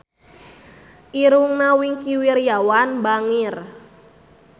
Irungna Wingky Wiryawan bangir